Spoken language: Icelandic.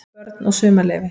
BÖRN OG SUMARLEYFI